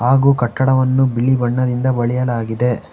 ಹಾಗು ಕಟ್ಟಡವನ್ನು ಬಿಳಿ ಬಣ್ಣದಿಂದ ಬಳಿಯಲಾಗಿದೆ.